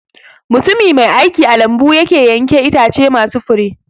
Mutumi mai aiki a lambu yake yanke Itace masu Fure